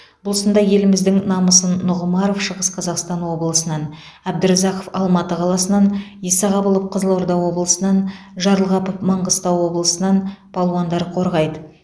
бұл сында еліміздің намысын нұғымаров шығыс қазақстан облысынан әбдіразақов алматы қаласынан исағабылов қызылорда облысынан жарылғапов маңғыстау облысынан палуандар қорғайды